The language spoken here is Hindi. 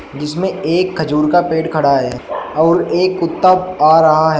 जिसमें एक खजूर का पेड़ खड़ा है और एक कुत्ता आ रहा है।